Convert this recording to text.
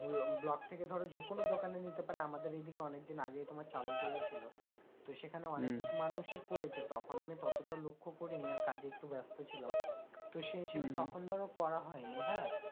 block থেকে ধরো যে কোনো দোকানে নিতে পারে আমাদের এদিকে অনেকদিন আগেই তোমার চালু করেছিল তো সেখানে অনেক মানুষই করেছে তখন আমি ততটা লক্ষ্য করিনি আর কাজে একটু ব্যস্ত ছিলাম তো সেই হিসেবে তখন ধরো করা হয় নি হ্যাঁ